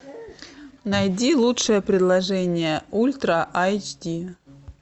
найди лучшее предложение ультра айч ди